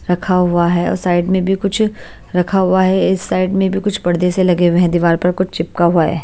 रखा हुआ है और साइड में भी कुछ रखा हुआ है इस साइड में भी कुछ पर्दे से लगे हुए हैं दीवार पर कुछ चिपका हुआ है।